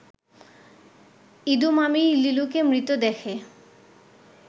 ইদু মামি লিলুকে মৃত দেখে